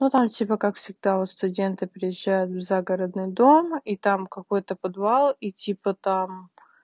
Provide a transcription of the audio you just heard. ну там типа как всегда вот студенты переезжают в загородный дом и там какой-то подвал и типа там